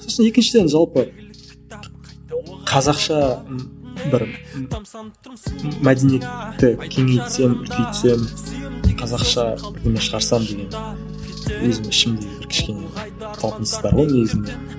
сосын екіншіден жалпы қазақша бір мәдениетті кеңейтсем үлкейтсем қазақша бұны шығарсам деген өзімнің ішімде бір кішкене бір талпыныс бар ғой негізінде